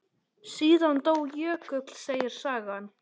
Síðan dó Jökull, segir sagan.